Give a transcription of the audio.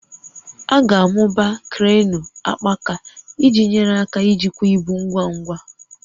A ga-amụba kreenụ akpaaka iji nyere aka ijikwa ibu ngwa ngwa